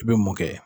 I bɛ mun kɛ